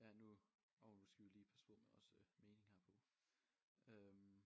Ja nu hov nu skal vi lige passe på med også mening herpå øh